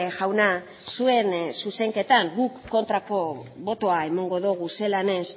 jauna zuen zuzenketan guk kontrako botoa emango dogu zelan ez